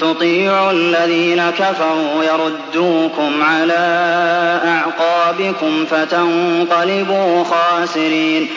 تُطِيعُوا الَّذِينَ كَفَرُوا يَرُدُّوكُمْ عَلَىٰ أَعْقَابِكُمْ فَتَنقَلِبُوا خَاسِرِينَ